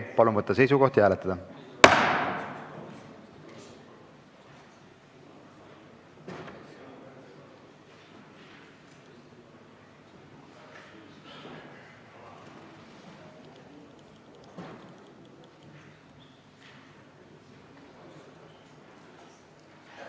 Palun võtta seisukoht ja hääletada!